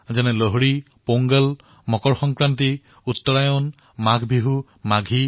যেনে লোহৰী পোংগল মকৰ সংক্ৰান্তি উত্তৰায়ণ মাঘ বিহু মাঘী